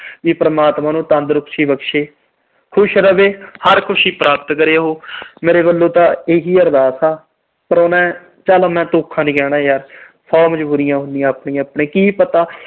ਵੀ ਪਰਮਾਤਮਾ ਉਹਨੂੰ ਤੰਦਰੁਸਤੀ ਬਖਸ਼ੇ, ਖੁਸ਼ ਰਵੇ, ਹਰ ਖੁਸ਼ੀ ਪ੍ਰਾਪਤ ਕਰੇ ਉਹ। ਮੇਰੇ ਵੱਲੋਂ ਤਾਂ ਇਹੀ ਅਰਦਾਸ ਆ। ਪਰ ਮੈਂ ਚਲ ਧੋਖਾ ਨੀ ਕਹਿੰਦਾ ਯਾਰ। ਸੌ ਮਜਬੂਰੀਆਂ ਹੁੰਦੀਆਂ ਆਪਣੀਆਂ-ਆਪਣੀਆਂ, ਕੀ ਪਤਾ।